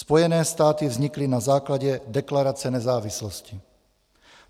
Spojené státy vznikly na základě deklarace nezávislosti.